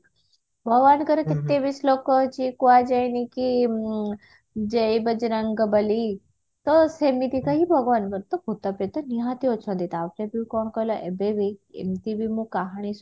ଭଗବାନଙ୍କର କେତେ ବି ଶ୍ଳୋକ ଅଛି କୁହାଯାଏନି କି ଉଁ ଜୟ ବଜରଙ୍ଗବଲି ତ ସେମିତିକା ହିଁ ଭଗବାନଙ୍କ ଭୁତ ପେତ ନିହାତି ଅଛନ୍ତି ତାପରେ ବି କଣ କହିଲ ଏବେ ବି ଏମତି ବି ମୁଁ କାହାଣୀ